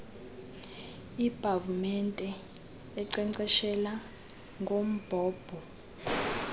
iipavumente enkcenkceshela ngombhobho